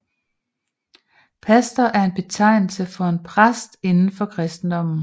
Pastor er en betegnelse for en præst indenfor kristendommen